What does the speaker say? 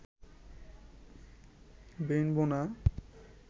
বেইন বোনা